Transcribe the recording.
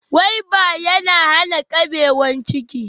Gwaiba ya na hana ƙabewan ciki